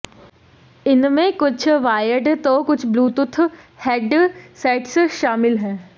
इनमें कुछ वायर्ड तो कुछ ब्लूटूथ हेडसेट्स शामिल हैं